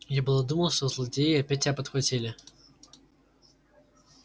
я было думал что злодеи опять тебя подхватили